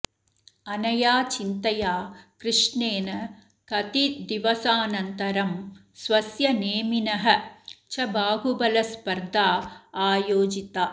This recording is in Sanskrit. अनया चिन्तया कृष्णेन कतिद्दिवसानन्तरं स्वस्य नेमिनः च बाहुबलस्पर्धा आयोजिता